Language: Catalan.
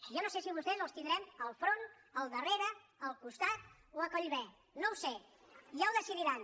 jo no sé si a vostès els tindrem enfront al darrere al costat o a collibè no ho sé ja ho decidiran